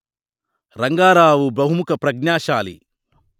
రంగారావు బహుముఖ ప్రజ్ఞాశాలి